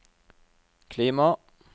klima